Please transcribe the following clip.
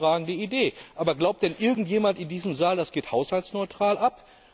Ganz hervorragende Idee! Aber glaubt denn irgendjemand in diesem Saal, das geht haushaltsneutral ab?